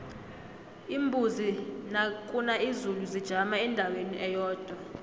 iimbuzi nakuna izulu zijama endaweni eyodwa